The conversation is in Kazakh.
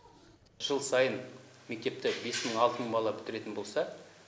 жыл сайын мектепті бес мың алты мың бала бітіретін болса